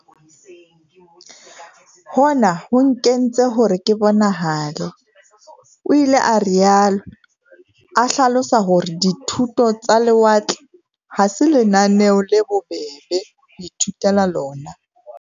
Hona ho nkentse hore ke bonahale, o ile a rialo, a hlalosa hore di thuto tsa lewatle ha se lenaneo le bobebe ho ithutela lona.